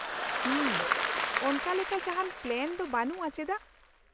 -ᱦᱩᱢ, ᱚᱱᱠᱟ ᱞᱮᱠᱟ ᱡᱟᱦᱟᱱ ᱯᱞᱟᱱ ᱫᱚ ᱵᱟᱹᱱᱩᱜᱼᱟ, ᱪᱮᱫᱟᱜ ?